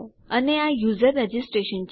અને આ user registration છે